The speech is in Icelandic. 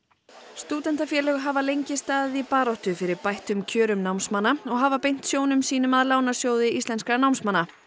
stúdentafélög hafa lengi staðið í baráttu fyrir bættum kjörum námsmanna og hafa beint sjónum sínum að Lánasjóði íslenskra námsmanna